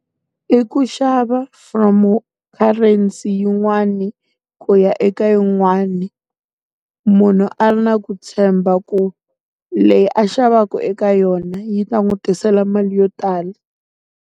I ku xava from-u currency yin'wani ku ya eka yin'wani. Munhu a ri na ku tshemba ku, leyi a xavaku eka yona yi ta n'wi tisela mali yo tala.